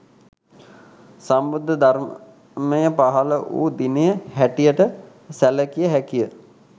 සම්බුද්ධ ධර්මය පහළ වූ දිනය හැටියට සැලකිය හැකිය